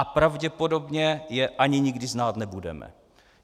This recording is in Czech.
A pravděpodobně je ani nikdy znát nebudeme.